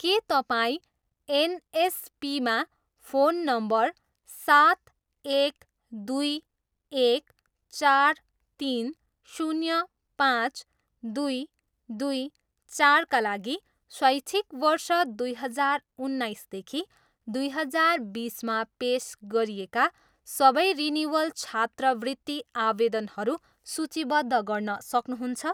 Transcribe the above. के तपाईँ एनएसपीमा फोन नम्बर सात, एक, दुई, एक, चार, तिन, शून्य, पाँच, दुई, दुई, चारका लागि शैक्षिक वर्ष दुई हजार उन्नाइसदेखि दुई हजार बिसमा पेस गरिएका सबै रिनिवल छात्रवृत्ति आवेदनहरू सूचीबद्ध गर्न सक्नुहुन्छ?